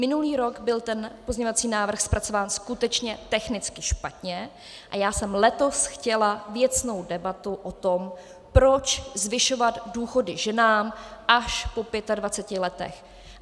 Minulý rok byl ten pozměňovací návrh zpracován skutečně technicky špatně a já jsem letos chtěla věcnou debatu o tom, proč zvyšovat důchody ženám až po 25 letech.